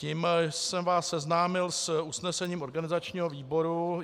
Tím jsem vás seznámil s usnesením organizačního výboru.